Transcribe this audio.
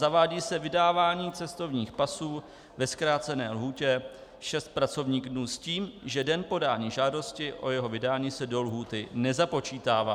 Zavádí se vydávání cestovních pasů ve zkrácené lhůtě 6 pracovních dnů s tím, že den podání žádosti o jeho vydání se do lhůty nezapočítává.